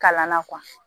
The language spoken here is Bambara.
Kalan na